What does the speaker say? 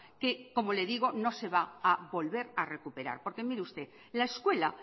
que como le digo no se va a volver a recuperar porque mire usted la escuela